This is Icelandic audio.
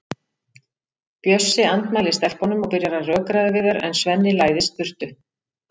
Bjössi andmælir stelpunum og byrjar að rökræða við þær en Svenni læðist burtu.